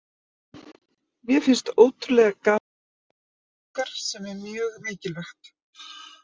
Mér finnst ótrúlega gaman að mæta á æfingar, sem er mjög mikilvægt.